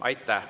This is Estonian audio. Aitäh!